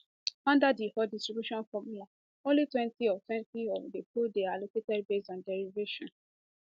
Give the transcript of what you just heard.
under di old distribution formula onlytwentyoftwentyof di pool dey allocated based of derivation